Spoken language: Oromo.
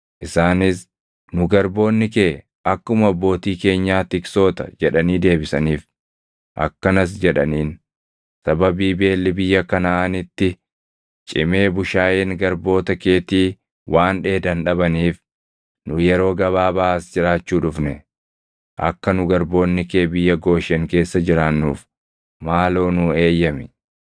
Akkanas jedhaniin; “Sababii beelli biyya Kanaʼaanitti cimee bushaayeen garboota keetii waan dheedan dhabaniif nu yeroo gabaabaa as jiraachuu dhufne. Akka nu garboonni kee biyya Gooshen keessa jiraannuuf maaloo nuu eeyyami.”